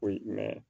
Koyi